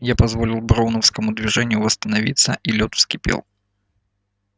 я позволил броуновскому движению восстановиться и лёд вскипел